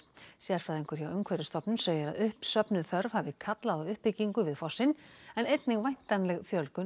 sérfræðingur hjá Umhverfisstofnun segir að uppsöfnuð þörf hafi kallað á uppbyggingu við fossinn en einnig væntanleg fjölgun